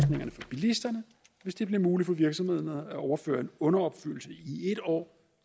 bilisterne hvis det bliver muligt for virksomhederne at overføre en underopfyldelse i et år